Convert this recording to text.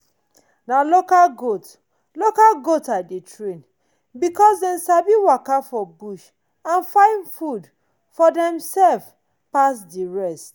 na local goat local goat i dey train because dem sabi waka for bush and find food for demself pass the rest.